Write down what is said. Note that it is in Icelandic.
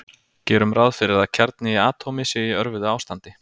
Gerum ráð fyrir að kjarni í atómi sé í örvuðu ástandi.